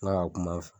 N'a ka kuma